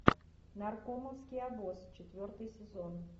наркомовский обоз четвертый сезон